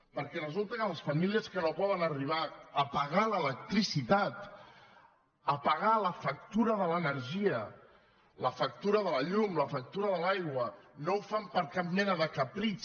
perquè resulta que les famílies que no poden arribar a pagar l’electricitat a pagar la factura de l’energia la factura de la llum la factura de l’aigua no ho fan per cap mena de capritx